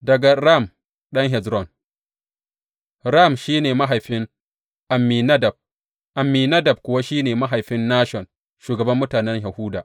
Daga Ram ɗan Hezron Ram shi ne mahaifin Amminadab, Amminadab kuwa shi ne mahaifin Nashon, shugaban mutanen Yahuda.